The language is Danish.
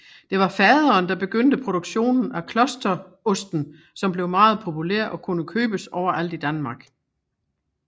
Det var faderen der begyndte produktionen af Klosterosten som blev meget populær og kunne købes overalt i Danmark